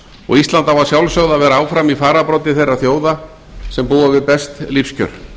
og ísland á að sjálfsögðu að vera áfram í fararbroddi þeirra þjóða sem búa við best lífskjör